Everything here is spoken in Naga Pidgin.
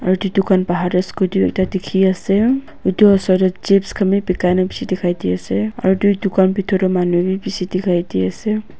aru edu dukan bahar tae scooter ekta dikhiase edu osor tae chips khan bi bikai na bishi dikhai diase aru edudukan bitor tae manu bi bishi dikhai diase.